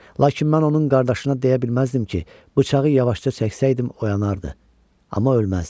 Lakin mən onun qardaşına deyə bilməzdim ki, bıçağı yavaşca çəksəydim oyanardı, amma ölməzdi.